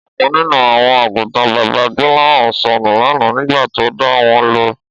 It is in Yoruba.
Ọ̀kan nínú àwọn àgùntàn bàbá Gbọ́láhàn sọnù lánàá nígbà tó dà wọ́n lọ